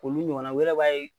Olu ɲɔgɔnna wɛrɛ b'a ye